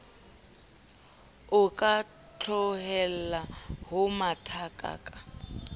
o ka tlohella ho mathakaka